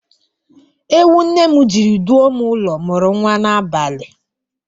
Ewu nne m jiri duo m ụlọ mụrụ nwa n'abalị